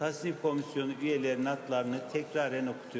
Təsnifat komissiyasının üzvlərinin adlarını təkrar oxuyuram.